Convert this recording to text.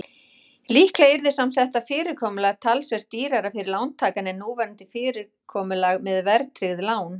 Líklega yrði samt þetta fyrirkomulag talsvert dýrara fyrir lántakann en núverandi fyrirkomulag með verðtryggð lán.